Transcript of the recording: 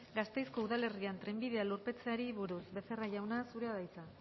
gasteizko udalerrian trenbidea lurperatzeari buruz becerra jauna zurea da hitza